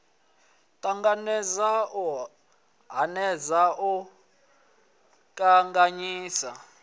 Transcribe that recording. ṱanganedza u hanedza u kanganyisa